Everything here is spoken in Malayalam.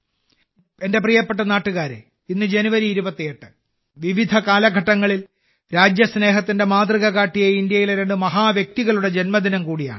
എന്റെ പ്രിയപ്പെട്ട നാട്ടുകാരേ ഇന്ന് ജനുവരി 28 വിവിധ കാലഘട്ടങ്ങളിൽ രാജ്യസ്നേഹത്തിന്റെ മാതൃക കാട്ടിയ ഇന്ത്യയിലെ രണ്ട് മഹത്വ്യക്തികളുടെ ജന്മദിനം കൂടിയാണ്